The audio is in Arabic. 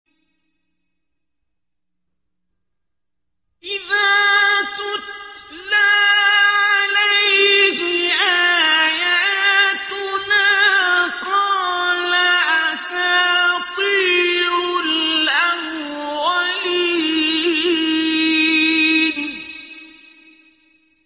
إِذَا تُتْلَىٰ عَلَيْهِ آيَاتُنَا قَالَ أَسَاطِيرُ الْأَوَّلِينَ